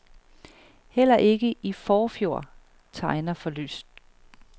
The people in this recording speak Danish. Heller ikke i forfjor tegner for lyst.